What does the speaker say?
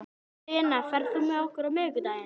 Jónanna, hvernig kemst ég þangað?